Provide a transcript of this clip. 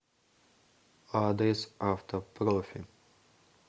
адрес автопрофи